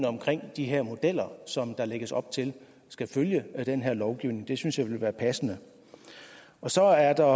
omkring de her modeller som der lægges op til skal følge af den her lovgivning det synes jeg ville være passende så er der